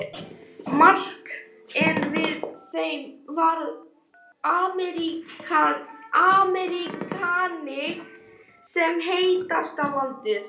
Mark en með þeim var þriðji Ameríkaninn sem sagðist heita